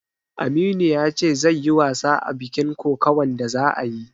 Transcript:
Aminu ya ce zai yi wasa a bikin kokawan da za'ayi